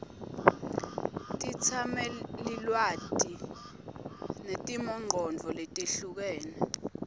tetsamelilwati netimongcondvo letehlukene